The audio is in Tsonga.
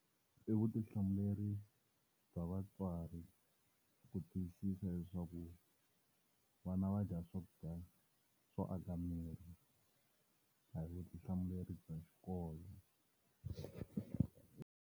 I vutihlamuleri bya vatswari ku tiyisisa leswaku vana va dya swakudya swo aka miri. A hi vutihlamuleri bya xikolo.